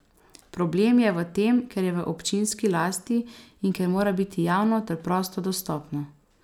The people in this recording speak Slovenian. Problem je v tem, ker je v občinski lasti in ker mora biti javno ter prosto dostopno.